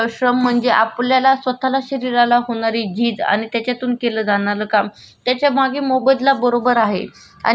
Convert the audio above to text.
आणि व पर्पज पण आहे आपण ते काम केल्यानंतर तो मोबदला मिळतो. पण तो शारीरिक श्रम मध्ये कन्सिडर केला जातो.